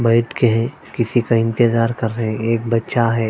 बैठ के किसी का इंतेज़ार कर रहे ह एक बच्चा ह--